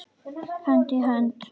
Hönd í hönd.